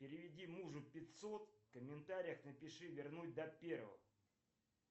переведи мужу пятьсот в комментариях напиши вернуть до первого